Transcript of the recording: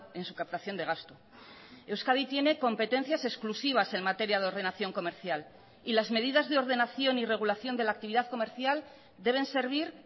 en su captación de gasto euskadi tiene competencias exclusivas en materia de ordenación comercial y las medidas de ordenación y regulación de la actividad comercial deben servir